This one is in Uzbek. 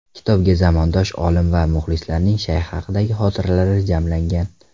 Kitobga zamondosh olim va muxlislarning Shayx haqidagi xotiralari jamlangan.